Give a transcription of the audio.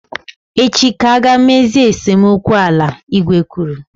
Echi ka a ga emezi esemokwu ala, igwe kwuru